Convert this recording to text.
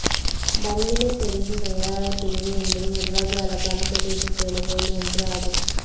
பன்விலை பிரதேச செயலாளர் பிரிவு என்பது நிர்வாக அலகான பிரதேச செயலகங்களில் ஒன்று ஆகும்